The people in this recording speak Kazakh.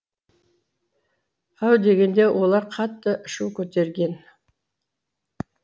әу дегенде олар қатты шу көтерген